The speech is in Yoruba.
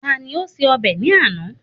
Tá ni ó ṣe ọbẹ̀ ní àná?